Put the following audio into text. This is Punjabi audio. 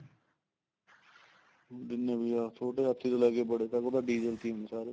ਜਿੰਨੇ ਵੀ ਆ ਛੋਟੇ ਹਾਥੀ ਤੋਂ ਲੈਕੇ ਬੜੇ ਤੱਕ diesel ਤੇ ਈ ਨੇ ਸਾਰੇ